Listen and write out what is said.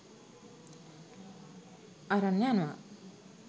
අරන් යනවා.